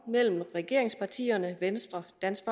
mellem regeringspartierne venstre dansk